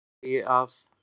Í öðru lagi að